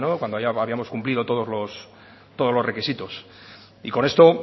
cuando ya habíamos cumplido todos los requisitos y con esto